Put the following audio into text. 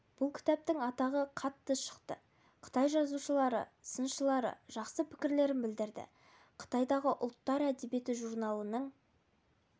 бұл кітаптың атағы қатты шықты қытай жазушылары сыншылары жақсы пікірлерін білдірді қытайдағы ұлттар әдебиеті журналының